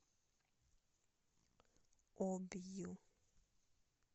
обью